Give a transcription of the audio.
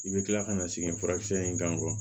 I bɛ kila ka na sɛgɛn furakisɛ in kan